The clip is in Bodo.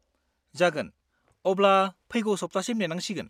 -जागोन, अब्ला फैगौ सप्तासिम नेनांसिगोन।